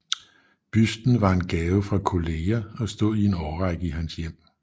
Busten var en gave fra kolleger og stod i en årrække i hans hjem